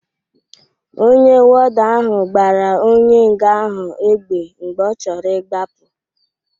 Ọnye wọda ahụ gbara onye nga ahụ égbè mgbe ọ choro ị gbapu.